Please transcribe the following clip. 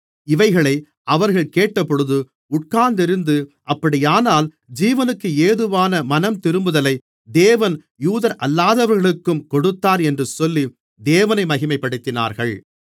இவைகளை அவர்கள் கேட்டபொழுது உட்கார்ந்திருந்து அப்படியானால் ஜீவனுக்கேதுவான மனந்திரும்புதலை தேவன் யூதரல்லாதவர்களுக்கும் கொடுத்தார் என்று சொல்லி தேவனை மகிமைப்படுத்தினார்கள்